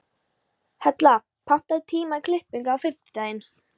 Hella, pantaðu tíma í klippingu á fimmtudaginn.